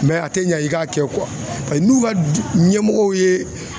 a tɛ ɲa i k'a kɛ pase n'u ka ɲɛmɔgɔw ye